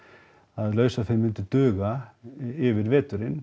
að lausaféð myndi duga yfir veturinn